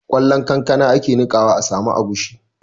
Ƙwallon kankana ake niƙawa a samu agushi